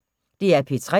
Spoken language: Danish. DR P3